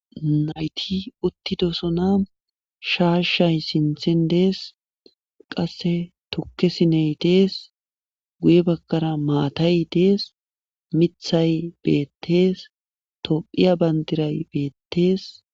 Nayti uttidosona shaasshay sinthen dees qasse tukkesiney dees guye bakkara maatay dees mithay beettees tophiya bandiray beettees.